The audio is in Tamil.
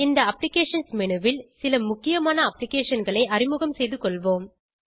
இந்த அப்ளிகேஷன்ஸ் menuல் சில முக்கியமான applicationகளை அறிமுகம் செய்து கொள்வோம்